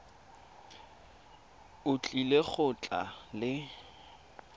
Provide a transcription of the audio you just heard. o tlile go tla le